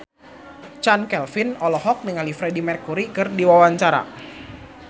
Chand Kelvin olohok ningali Freedie Mercury keur diwawancara